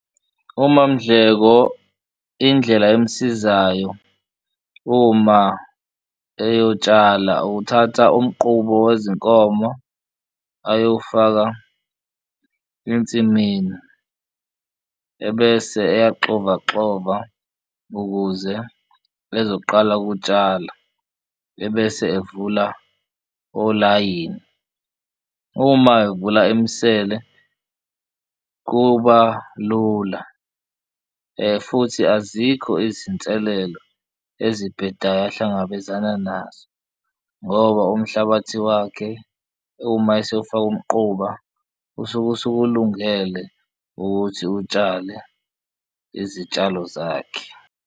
UMaMdleko indlela emsizayo uma eyotshala ukuthatha umqubo wezinkomo ayowufaka ensimini ebese eyaxovaxova ukuze ezoqala ukutshala, ebese evula olayini. Uma evula imisele kuba lula futhi azikho izinselelo ezibhedayo ahlangabezana nazo ngoba umhlabathi wakhe uma esewufaka umquba usuke usukulungele ukuthi utshale izitshalo zakhe.